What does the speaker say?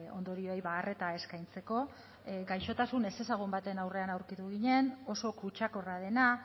ondorioei arreta eskaintzeko gaixotasun ezezagun baten aurrean aurkitu ginen oso kutsakorra dena